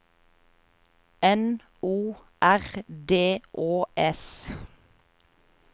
N O R D Å S